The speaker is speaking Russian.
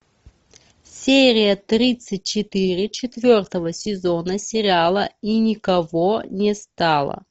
серия тридцать четыре четвертого сезона сериала и никого не стало